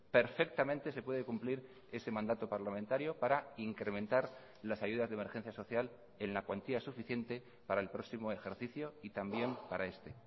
perfectamente se puede cumplir ese mandato parlamentario para incrementar las ayudas de emergencia social en la cuantía suficiente para el próximo ejercicio y también para este